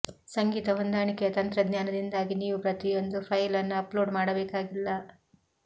ಸಂಗೀತ ಹೊಂದಾಣಿಕೆಯ ತಂತ್ರಜ್ಞಾನದಿಂದಾಗಿ ನೀವು ಪ್ರತಿಯೊಂದು ಫೈಲ್ ಅನ್ನು ಅಪ್ಲೋಡ್ ಮಾಡಬೇಕಾಗಿಲ್ಲ